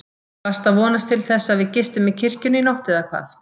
Varstu að vonast til þess að við gistum í kirkjunni í nótt eða hvað?